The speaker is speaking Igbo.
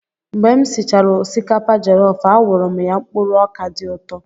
Mgbe m sichara osikapa jọlọf, a wụrụ m ya mkpụrụ ọkà dị ụtọ.